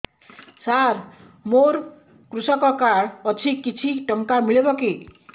ସାର ମୋର୍ କୃଷକ କାର୍ଡ ଅଛି କିଛି ଟଙ୍କା ମିଳିବ କି